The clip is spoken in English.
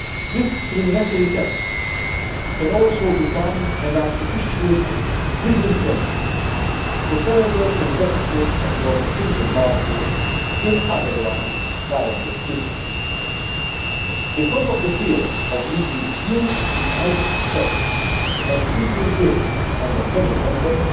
Discriminatory taxation can also become an artificial disincentive to further investment across the single market in otherwise viable businesses. Because of the fear of leaving huge inheritance tax and legal bills for their family members,